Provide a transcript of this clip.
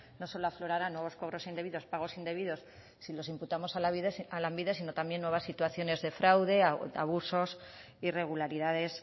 no solo aflorarán nuevos cobros indebidos pagos indebidos si los imputamos a lanbide sino también nuevas situaciones de fraude abusos irregularidades